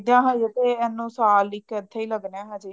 ਦੇਖਦੇ ਆ ਹਜੇ ਤੇ ਸਾਲ ਇਹਨੂੰ ਇੱਥੇ ਹੀ ਲੱਗਣਾ ਹਜੇ ਤੇ